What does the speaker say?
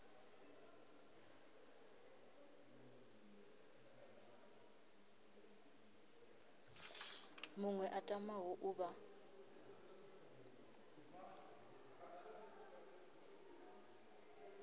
muṅwe a tamaho u vha